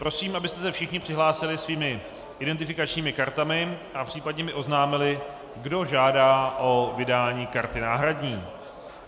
Prosím, abyste se všichni přihlásili svými identifikačními kartami a případně mi oznámili, kdo žádá o vydání karty náhradní.